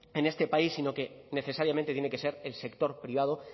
en este país sino que necesariamente tiene que ser el sector privado